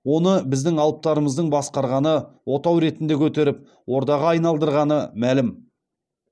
оны біздің алыптарымыздың басқарғаны отау ретінде көтеріп ордаға айналдырғаны мәлім